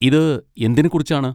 ഇത് എന്തിനെക്കുറിച്ചാണ്?